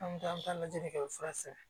An bɛ taa an bɛ taa lajɛli kɛ fura san